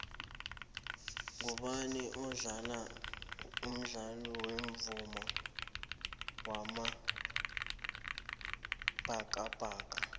ngubani umdlali wemuva wamabhakabhaka